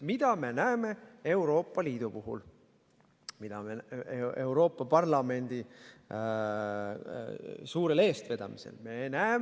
Mida me näeme Euroopa Liidus, mida me näeme Euroopa Parlamendi suurel eestvedamisel?